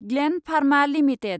ग्लेन्ड Pharma limited